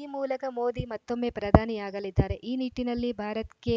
ಈ ಮೂಲಕ ಮೋದಿ ಮತ್ತೊಮ್ಮೆ ಪ್ರಧಾನಿಯಾಗಲಿದ್ದಾರೆ ಈ ನಿಟ್ಟಿನಲ್ಲಿ ಭಾರತ್‌ ಕೆ